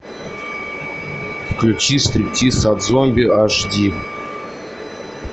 включи стриптиз от зомби аш ди